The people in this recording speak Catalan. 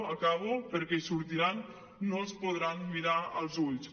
acabo perquè en sortiran no els podran mirar als ulls